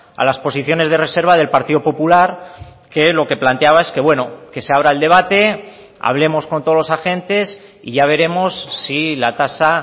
a las posiciones de reserva del partido popular que lo que planteaba es que bueno que se abra el debate hablemos con todos los agentes y ya veremos si la tasa